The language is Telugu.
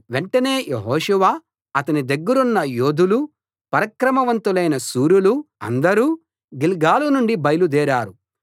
వెంటనే యెహోషువ అతని దగ్గరున్న యోధులూ పరాక్రమవంతులైన శూరులూ అందరూ గిల్గాలు నుండి బయలుదేరారు